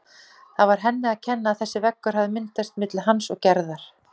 Það var henni að kenna að þessi veggur hafði myndast milli hans og Gerðar.